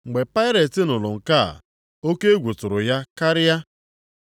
Mgbe Pailet nụrụ nke a, oke egwu tụrụ ya karịa.